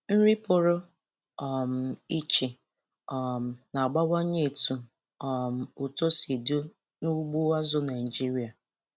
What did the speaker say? Nri pụrụ um iche um na-abawanye etu um uto si dị n'ugbo azụ̀ Naịjiria.